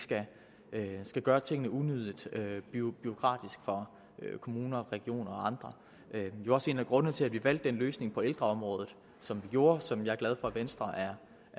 gør tingene unødig bureaukratiske for kommuner regioner og andre det er også en af grundene til at vi valgte den løsning til ældreområdet som vi gjorde og som jeg er glad for at venstre er